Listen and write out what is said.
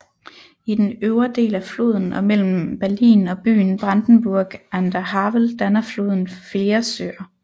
I den øvre del af floden og mellem Berlin og byen Brandenburg an der Havel danner floden flere søer